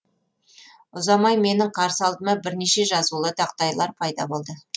ұзамай менің қарсы алдыма бірнеше жазулы тақтайлар пайда болды